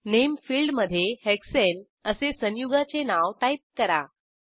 नामे फिल्डमधे हेक्साने असे संयुगाचे नाव टाईप करा